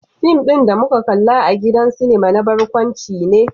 Fim din da muka kalla a gidan sinima na barkwanci ne.